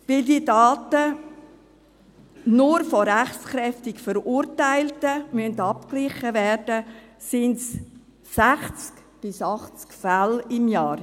Weil nur die Daten von rechtskräftig Verurteilten abgeglichen werden müssen, sind es 60 bis 80 Fälle pro Jahr.